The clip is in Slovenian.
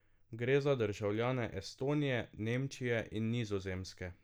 Gre za državljane Estonije, Nemčije in Nizozemske.